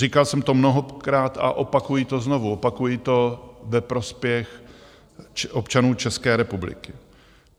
Říkal jsem to mnohokrát a opakuji to znovu, opakuji to ve prospěch občanů České republiky.